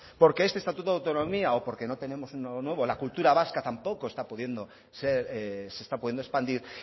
porque este estatuto de autonomía o porque no tenemos uno nuevo la cultura vasca tampoco se está pudiendo expandir